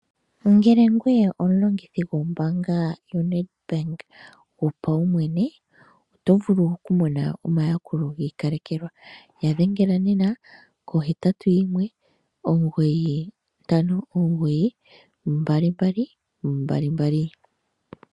Ngele ngweye omulongithi gwombaanga yonedbank gwopaumwene. Otovulu okumona omayakulo giikalekelwa yadhengela nena ko 81 959 2222.